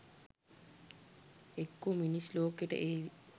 එක්කෝ මිනිස් ලෝකෙට ඒවි